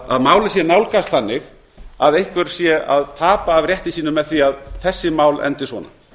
að málið sé nálgast þannig að einhver sé að tapa af rétti sínum með því að þessi mál endi svona